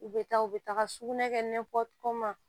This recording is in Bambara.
U bɛ taa u bɛ taga sugunɛ kɛ n'a fɔ ko kuma